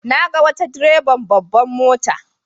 Na ga wata direban babbar mota.